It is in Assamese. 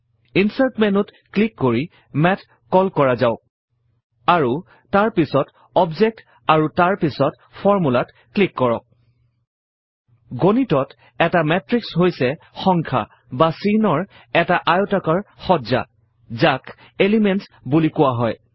ইনচাৰ্ট মেন্যুত ক্লিক কৰি মাথ কল কৰা যাওক আৰু তাৰ পাছত অবজেক্ট আৰু তাৰ পাছত Formula ত ক্লিক কৰক গণিতত এটা মাতৃশ হৈছে সংখ্যা বা চিহ্নৰ এটা আয়তাকাৰ সজ্জা যাক এলিমেণ্টছ বুলি কোৱা হয়